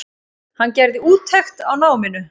Hann gerði úttekt á náminu.